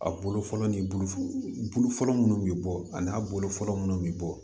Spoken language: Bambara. A bolo fɔlɔ ni bulu bulu fɔlɔ munnu bi bɔ a n'a bolo fɔlɔ munnu bi bɔ